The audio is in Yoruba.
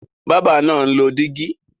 Bábà náà ń lọ dígí.